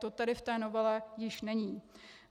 To tedy v té novele již není.